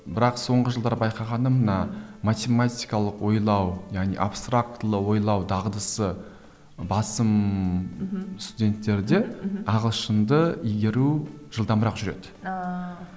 бірақ соңғы жылдары байқағаным мына математикалық ойлау яғни абстрактілі ойлау дағдысы басым мхм студенттерде мхм ағылшынды игеру жылдамырақ жүреді ааа